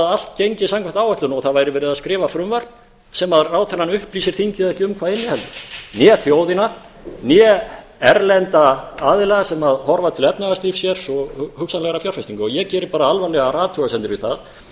allt gengi samkvæmt áætlun og það væri verið að skrifa frumvarp sem ráðherrann upplýsir þingið hvorki um hvað inniheldur né þjóðina né erlenda aðila sem horfa til efnahagslífs hér og hugsanlegra fjárfestinga ég geri alvarlegar athugasemdir við það